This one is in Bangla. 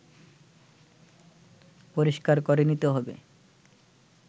পরিষ্কার করে নিতে হবে